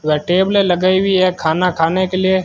उधर टेबलें लगाई हुई है खाना खाने के लिए।